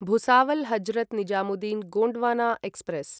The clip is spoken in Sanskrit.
भुसावल् हजरत् निजामुद्दीन् गोण्ड्वाना एक्स्प्रेस्